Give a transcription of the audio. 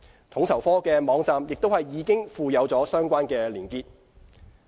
統籌科的網站亦已附有相關連結。